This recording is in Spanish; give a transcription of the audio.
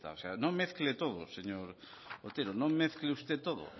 está o sea no mezcle todo señor otero no mezcle usted todo